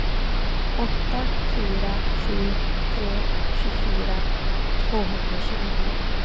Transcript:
åtta fyra sju tre tjugofyra tvåhundratjugonio